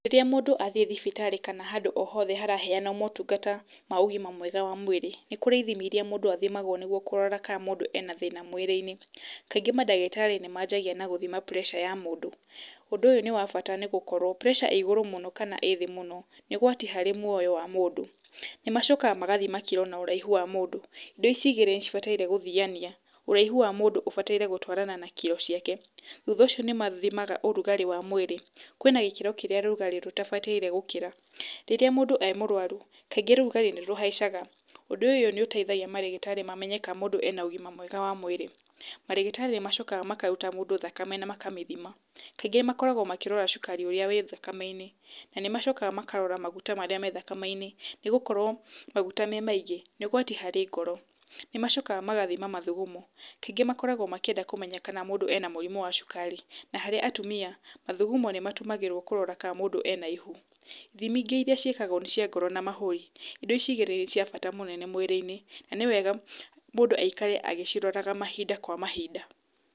Rĩrĩa mũndũ athiĩ thibitarĩ kana handũ o hothe haraheana motungata ma ũgima mwega wa mwĩrĩ, nĩ kurĩ ithimi irĩa mũndũ athimagwo nĩguo kũrora kana mũndũ ena thĩna mwĩrĩ-inĩ. Kaingĩ mandagĩtarĩ nĩ manjagia na gũthima pressure ya mũndũ. Ũndũ ũyũ nĩ wa bata nĩ gũkorwo pressure ĩĩ igũrũ mũno kana ĩĩ thĩ mũno nĩ ũgwati mũnene harĩ muoyo wa mũndũ. Nĩ macokaga magathima kiro na ũraihu wa mũndũ. Indo ici igĩrĩ nĩ cibataire guthiania, ũraihu wa mũndũ ũbataire gũtwarana na kiro ciake. Thutha ũcio nĩ mathimaga ũrugarĩ wa mwĩrĩ. Kwĩna gĩkĩro kĩrĩa ũrugarĩ ũtabataire gũkĩra. Rĩrĩa mũndũ e mũrwaru, kaingĩ rugarĩ nĩ rũhaicaga. Ũndũ ũyũ nĩ ũteithagia marĩgĩtarĩ mamanye kana mũndũ ena ũgima mwega wa mwĩrĩ. Marĩgĩtarĩ nĩ marutaga mũndũ thakame na magacoka makamĩthima. Kaingĩ makoragwo makĩrora cukari ũrĩa wĩ thakame-inĩ. Na nĩ macokaga makarora maguta marĩa me thakame-inĩ, nĩ gũkorwo maguta me maingĩ nĩ ũgwati harĩ ngoro. Nĩ macokaga magathima mathugumo. Kaingĩ makoragwo makĩenda kũmenya kana mũndũ ena mũrimũ wa cukari. Nĩ harĩ atumia mathugumo nĩ matũmagĩrwo kũrora kana mũndũ ena ihu. Thimi ingĩ irĩa ciĩkagwo nĩ cia ngoro na mahũri. Indo ici igĩrĩ nĩ cia bata mũno mwĩrĩ-inĩ na nĩ wega mũndũ aikare agĩciroraga mahinda kwa mahinda.